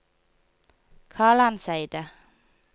Kalandseidet